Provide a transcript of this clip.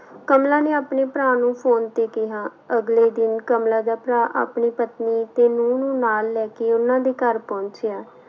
ਕਮਲਾ ਨੇ ਆਪਣੇ ਭਰਾ ਨੂੰ ਫ਼ੋਨ ਤੇ ਕਿਹਾ, ਅਗਲੇ ਦਿਨ ਕਮਲਾ ਦਾ ਭਰਾ ਆਪਣੀ ਪਤਨੀ ਤੇ ਨਹੁੰ ਨੂੰ ਨਾਲ ਲੈ ਕੇ ਉਹਨਾਂ ਦੇ ਘਰ ਪਹੁੰਚਿਆ।